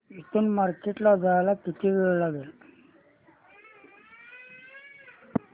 इथून मार्केट ला जायला किती वेळ लागेल